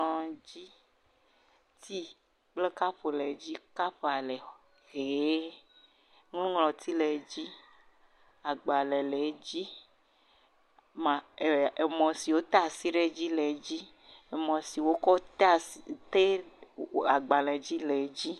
Kplɔdzi, ti kple kapu le dzi, kap a le ɣi, nuŋlɔti le edzi, agbale le edzi, emɔ si wote asi le le edzi, emɔ si wokɔ te agbale le edzi.